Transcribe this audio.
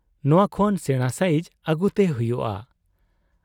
ᱱᱚᱶᱟ ᱠᱷᱚᱱ ᱥᱮᱬᱟ ᱥᱟᱭᱤᱡᱽ ᱟᱹᱜᱩᱛᱮ ᱦᱩᱭᱩᱜ ᱟ ᱾